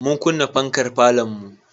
Mun kunna farkar falonmu.